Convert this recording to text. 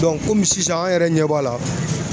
kɔmi sisan an yɛrɛ ɲɛ b'a la